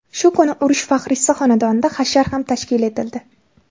Shu kuni urush faxriysi xonadonida hashar ham tashkil etildi.